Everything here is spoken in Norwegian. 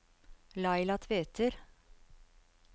Laila Tveter